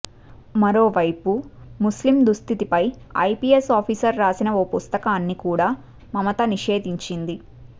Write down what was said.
మరోవైపు ముస్లిం దుస్ధితిపై ఐపిఎస్ ఆఫీసర్ రాసిన ఓ పుస్తకాన్ని కూడ మమత నిషేధించింది